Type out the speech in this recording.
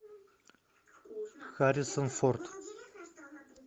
харрисон форд